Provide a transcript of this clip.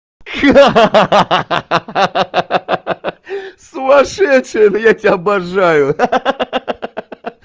ха-ха сумасшедшая я тебя обожаю ха-ха